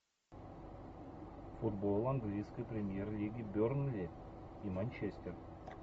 футбол английской премьер лиги бернли и манчестер